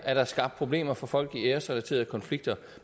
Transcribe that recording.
er skabt problemer for folk i æresrelaterede konflikter